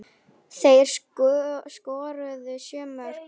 Þeir skoruðu sjö mörk hvor.